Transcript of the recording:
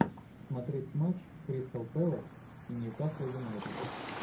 смотреть матч кристал пэлас и ньюкасл юнайтед